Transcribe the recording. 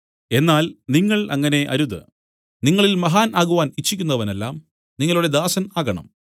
എന്നാൽ നിങ്ങൾ അങ്ങനെ അരുത് നിങ്ങളിൽ മഹാൻ ആകുവാൻ ഇച്ഛിക്കുന്നവനെല്ലാം നിങ്ങളുടെ ദാസൻ ആകണം